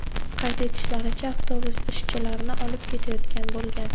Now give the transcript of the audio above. Qayd etishlaricha, avtobus ishchilarni olib ketayotgan bo‘lgan.